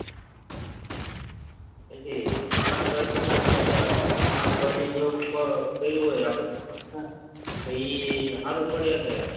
પછી શાકભાજી આપડે શાકભાજી જેવું ફળ કયું હોય છે આપડ તોએ એ સારું પડે કે